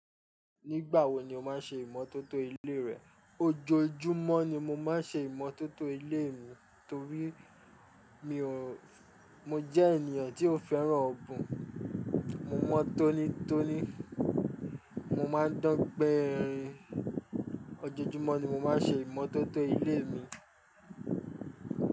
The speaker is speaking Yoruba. Nígbà wo ni o máa ń ṣe ìmọ́tótó ilé rẹ? Ojoojúmọ́ ni mo máa ń ṣe ìmọ́tótó ilé mi torí mi ò-- mo jẹ́ ènìyàn tí ó fẹ́ràn ọ̀bùn. Mo mọ tónítóní, mo máa ń dán pẹ́ẹ́rẹ́. Ojoojúmọ́ ni mo máa ń ṣe ìmọ́tótó ilé mi.